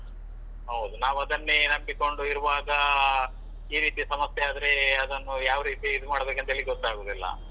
ಹೌದು ನಾವ್ ಅದನ್ನೆ ನಂಬಿಕೊಂಡು ಇರುವಾಗಾ ಈ ರೀತಿ ಸಮಸ್ಯೆ ಆದ್ರೆ ಅದನ್ನು ಯಾವ ರೀತಿ ಇದು ಮಾಡಬೇಕಂತ ಹೇಳಿ ಗೊತ್ತಾಗುದಿಲ್ಲ.